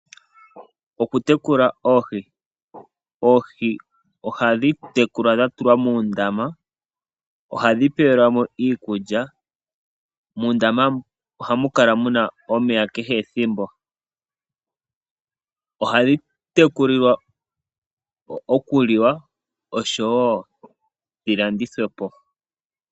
Oku tekula oohi Oohi ohadhi tekulwa dha tulwa muundama. Ohadhi pewelwa mo iikulya. Muundama ohamu kala muna omeya kehe ethimbo. Ohadhi tekulilwa oku liwa oshowo dhi landithwe po.